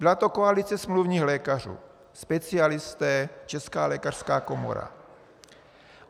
Byla to koalice smluvních lékařů - specialisté, Česká lékařská komora.